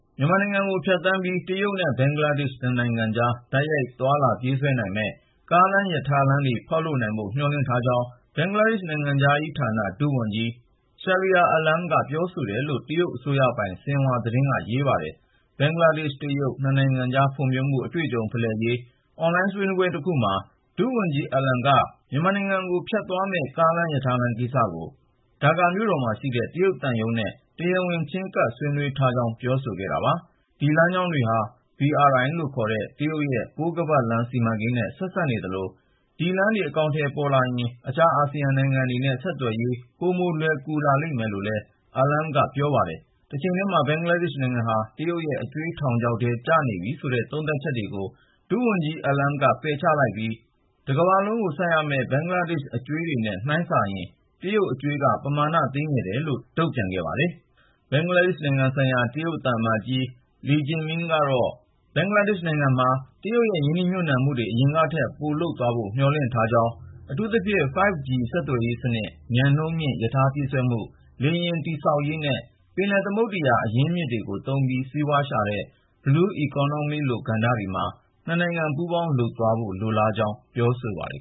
မြန်မာနိုင်ငံကို ဖြတ်သန်းပြီး တရုတ်နဲ့ ဘင်္ဂလားဒေ့ရှ် နှစ်နိုင်ငံကြား တိုက်ရိုက် သွားလာပြေးဆွဲနိုင်မယ့် ကားလမ်း၊ ရထားလမ်းတွေ ဖောက်လုပ်နိုင်ဖို့ မျှော်လင့်ထားကြောင်း ဘင်္ဂလားဒေ့ရှ် နိုင်ငံခြားရေးဌာန ဒုဝန်ကြီး Shahriar Alam က ပြောတယ်လို့ တရုတ်အစိုးရပိုင် ဆင်ဟွာသတင်းက ရေးပါတယ်။ ဘင်္ဂလားဒေ့ရှ်-တရုတ် နှစ်နိုင်ငံကြား ဖွံ့ဖြိုးမှု အတွေ့အကြုံဖလှယ်ရေး အွန်လိုင်း ဆွေးနွေးပွဲတခုမှာ ဒုဝန်ကြီး Shahriar Alam က မြန်မာနိုင်ငံကို ဖြတ်သွားမယ့် ကားလမ်း၊ ရထားလမ်းကိစ္စကို ဒါကာမြို့တော်မှာရှိတဲ့ တရုတ်သံရုံးနဲ့ တရားဝင် ချဉ်းကပ် ဆွေးနွေးထားကြောင်း ပြောဆိုခဲ့တာပါ။ ဒီလမ်းကြောင်းတွေဟာ BRI ခေါ် တရုတ်ရဲ့ ပိုးခါးပတ်လမ်း စီမံကိန်းနဲ့ ဆက်စပ်နေသလို ဒီလမ်းတွေ အကောင်အထည်ပေါ်လာရင် အခြား အာဆီယံနိုင်ငံတွေနဲ့ ဆက်သွယ်ရေး ပိုလွယ်ကူလာမယ်လို့လည်း Alam က ပြောပါတယ်။ တချိန်တည်းမှာ ဘင်္ဂလားဒေ့ရှ်နိုင်ငံဟာ တရုတ်ရဲ့ အကြွေးထောင်ချောက်ထဲ ကျနေပြီဆိုတဲ့ သုံးသပ်ချက်တွေကို ဒုဝန်ကြီး Alam က ငြင်းဆိုလိုက်ပြီး တကမ္ဘာလုံးကို ဆပ်ရမယ့် ဘင်္ဂလားဒေ့ရှ်အကြွေးတွေနဲ့ နှိုင်းစာရင် တရုတ်အကြွေးက ပမာဏသေးငယ်တယ်လို့ တုံ့ပြန်ခဲ့ပါတယ်။ ဘင်္ဂလားဒေ့ရှ်နိုင်ငံဆိုင်ရာ တရုတ်သံအမတ်ကြီး Li Jiming ကတော့ ဘင်္ဂလားဒေ့ရှ်နိုင်ငံမှာ တရုတ်ရဲ့ ရင်းနှီးမြှုပ်နှံမှုတွေ အရင်ကထက် ပိုလုပ်သွားဖို့ မျှော်လင့်ထားပြီး အထူးသဖြင့် 5G ဆက်သွယ်ရေးစနစ်၊ မြန်နှုန်းမြင့် ရထားပြေးဆွဲမှု၊ လေယာဉ်တည်ဆောက်ရေးနဲ့ ပင်လယ်သမုဒ္ဒရာ အရင်းမြစ်တွေကို သုံးပြီး စီးပွားရှာတဲ့ Blue Economy လို ကဏ္ဍတွေမှာ နှစ်နိုင်ငံ ပူးပေါင်းလုပ်သွားဖို့ လိုလားကြောင်း ပြောပါတယ်